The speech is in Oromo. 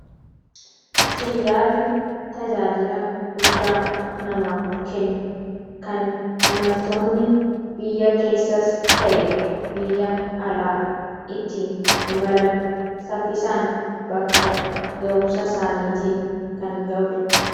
Xiyyaarri tajaajila guddaa namaaf kenna. Kan imaltoonni biyya keessas ta'e, biyya alaa ittiin imalan saffisaan bakka ga'umsa isaaniitiin kan ga'udha.